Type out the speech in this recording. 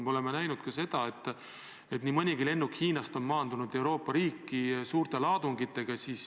Me oleme näinud, et nii mõnigi lennuk Hiinast on maandunud mõnes Euroopa riigis suurte laadungitega.